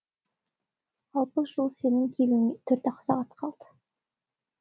алпыс жыл сенің келуіңе төрт ақ сағат қалды